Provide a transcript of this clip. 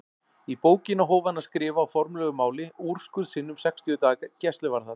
Í bókina hóf hann að skrifa á formlegu máli úrskurð sinn um sextíu daga gæsluvarðhald.